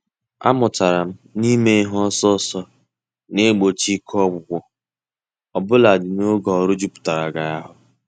A mụtara m n'ime ihe ọsọ ọsọ na-egbochi ike ọgwụgwụ, obuladi n'oge ọrụ jupụtara gị ahụ.